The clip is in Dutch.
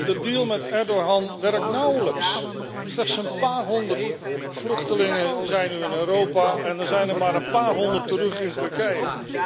De deal met Erdogan werkt nauwelijks. Slechts een paar honderd vluchtelingen zijn nu in Europa en er zijn inmiddels maar een paar honderd terug in Turkije.